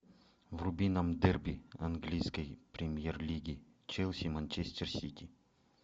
вруби нам дерби английской премьер лиги челси манчестер сити